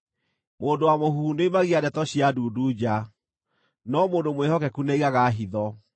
Mũndũ wa mũhuhu nĩoimagia ndeto cia ndundu nja, no mũndũ mwĩhokeku nĩaigaga hitho.